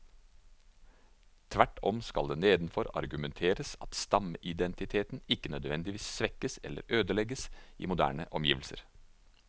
Tvert om skal det nedenfor argumenteres at stammeidentiteten ikke nødvendigvis svekkes eller ødelegges i moderne omgivelser.